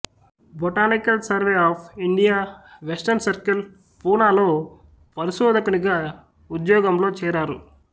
botanical survey of India western circle పూనాలో పరిశోధకునిగా ఉద్యోగంలో చేరారు